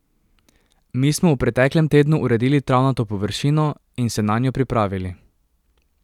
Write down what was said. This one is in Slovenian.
Mi smo v preteklem tednu uredili travnato površino in se nanjo pripravili.